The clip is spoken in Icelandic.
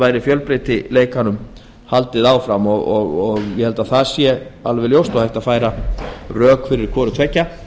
væri fjölbreytileika haldið áfram og ég held að það sé alveg ljóst að hægt er að færa rök fyrir hvoru tveggja